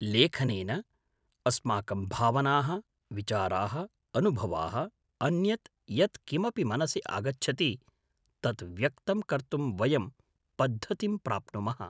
लेखनेन अस्माकं भावनाः, विचाराः, अनुभवाः, अन्यत् यत् किमपि मनसि आगच्छति तत् व्यक्तं कर्तुं वयं पद्धतिं प्राप्नुमः।